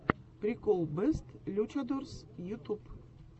прикол бэст лючадорс ютуб